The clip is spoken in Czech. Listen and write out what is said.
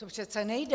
To přece nejde.